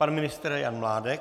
Pan ministr Jan Mládek.